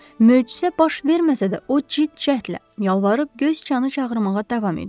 Möcüzə baş verməsə də o ciddi cəhdlə yalvarıb göy sıçanı çağırmağa davam edirdi.